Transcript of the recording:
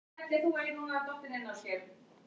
Askur Yggdrasils drýgir erfiði meira en menn viti